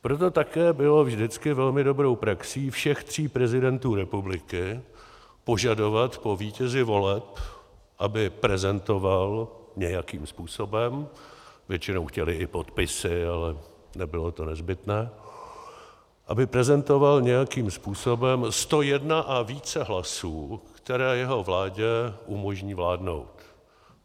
Proto také bylo vždycky velmi dobrou praxí všech tří prezidentů republiky požadovat po vítězi voleb, aby prezentoval nějakým způsobem - většinou chtěli i podpisy, ale nebylo to nezbytné - aby prezentoval nějakým způsobem 101 a více hlasů, které jeho vládě umožní vládnout.